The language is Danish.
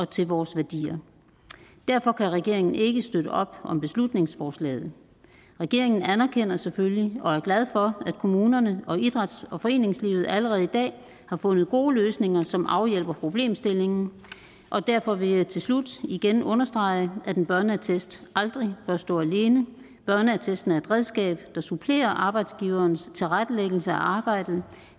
til vores værdier derfor kan regeringen ikke støtte op om beslutningsforslaget regeringen anerkender selvfølgelig og er glad for at kommunerne og idræts og foreningslivet allerede i dag har fundet gode løsninger som afhjælper problemstillingen og derfor vil jeg til slut igen understrege at en børneattest aldrig bør stå alene børneattesten er et redskab der supplerer arbejdsgiverens tilrettelæggelse af arbejdet